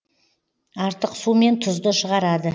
артық су мен тұзды шығарады